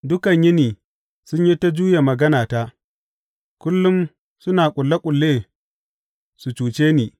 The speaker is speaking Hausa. Dukan yini sun yi ta juya maganata; kullum suna ƙulle ƙulle su cuce ni.